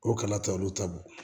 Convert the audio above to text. O kana ta olu ta bɔ